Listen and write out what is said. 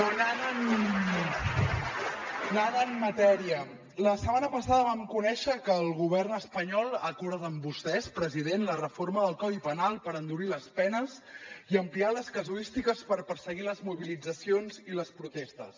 però anant a la matèria la setmana passada vam conèixer que el govern espanyol ha acordat amb vostès president la reforma del codi penal per endurir les penes i ampliar les casuístiques per perseguir les mobilitzacions i les protestes